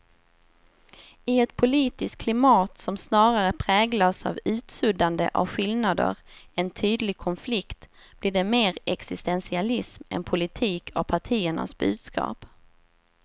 I ett politiskt klimat som snarare präglas av utsuddande av skillnader än tydlig konflikt blir det mer existentialism än politik av partiernas budskap.